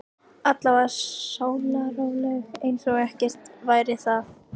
Honum var sleppt út fyrir góða hegðun eftir hvað?